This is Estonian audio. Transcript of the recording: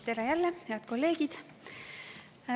Tere jälle, head kolleegid!